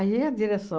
a direção...